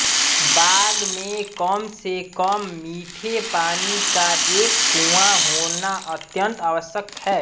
बाग में कम से कम मीठे पानी का एक कुआँ होना अत्यंत आवश्यक है